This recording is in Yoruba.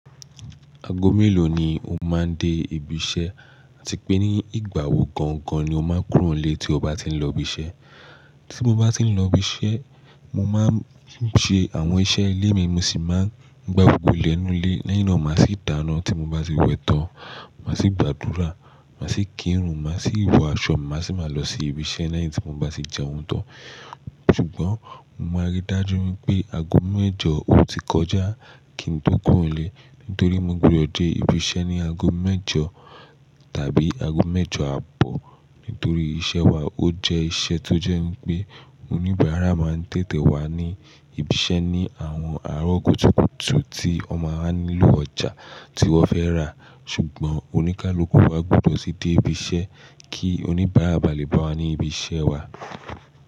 Aago mélòó ni o máa ń dé ibi iṣẹ́ àti pé ní ìgbà wo gangan ni o máa ń kúrò nílé tí o bá ti ń lọ ibi iṣẹ́? Tí mo bá ti ń lọ ibi iṣẹ́, mo máa ń ṣe àwọn iṣẹ́ ilé mi mo sì máa ń gbàgbọ́ ilẹ̀ inú ilé lẹ́yìn náà, màá sì dáná tí mo bá ti wẹ̀ tán. Màá sì gbàdúrà, màá sì kírun, màá sì wọ aṣọ, màá sì máa lọ sí ibi iṣẹ́ lẹ́yìn tí mo bá sì jẹ oúnjẹ tán. Ṣùgbọ́n o máa rí dájú wípé aago mẹ́jọ ò ti kọjá kí n tó kúrò nílé. Nítorí mo gbudọ̀ dé ibi iṣẹ́ ní aago mẹ́jọ tàbí aago mẹ́jọ àbọ̀. Nítorí iṣẹ́ wa ó jẹ́ iṣẹ́ tó jẹ́ pé oníbàárà máa ń tètè wá ní ibi iṣẹ́ ní àwọn àárọ̀ kùtùkùtù tí wọ́n máa nílò ọjà tí wọ́n fẹ́ rà. Ṣùgbọ́n oníkálukú wá gbọdọ̀ tí dé ibi iṣẹ́ kí oníbàárà bá lè bá wa ní ibi iṣẹ́ wa.